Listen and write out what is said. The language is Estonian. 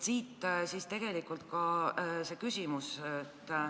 Siit ka minu küsimus.